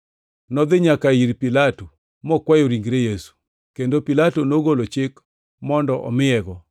Nodhi nyaka ir Pilato mokwayo ringre Yesu, kendo Pilato nogolo chik mondo omiyego.